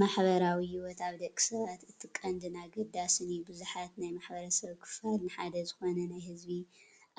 ማሕበራዊ ሂወት ኣብ ደቂ ሰባት እቲ ቀንድን ኣገዳስን እዩ፡፡ ብዙሓት ናይ ማ/ሰብ ክፋል ንሓደ ዝኾነ ናይ ህዝቢ